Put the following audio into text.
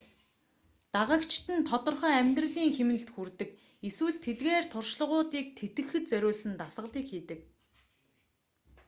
дагагчид нь тодорхой амьдралын хэмнэлд хүрдэг эсвэл тэдгээр туршлагуудыг тэтгэхэд зориулсан дасгалыг хийдэг